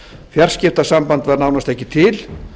fjarskiptasamband var nánast ekki til